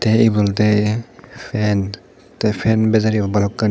te ibe olode fan te fan bejer iyot bhalokkani.